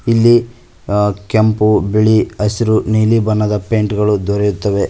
ಇಲ್ಲಿ ಅ ಕೆಂಪು ಬಿಳಿ ಹಸಿರು ನೀಲಿ ಬಣ್ಣದ ಪೇಂಟ್ ಗಳು ದೊರೆಯುತ್ತವೆ.